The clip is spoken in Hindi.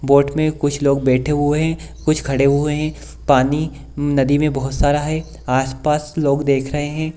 बोट में कुछ लोग बैठे हुए हैं कुछ खड़े हुए हैं पानी नदी में बहुत सारा है आस-पास लोग देख रहे हैं।